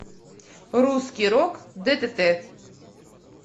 русский рок ддт